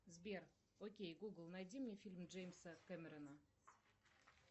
сбер окей гугл найди мне фильмы джеймса кемерона